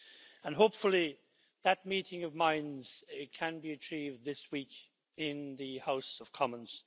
Hopefully that meeting of minds can be achieved this week in the House of Commons.